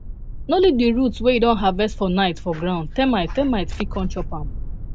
no leave di roots wey you don harvest for night for ground termite termite fit come chop am